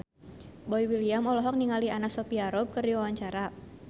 Boy William olohok ningali Anna Sophia Robb keur diwawancara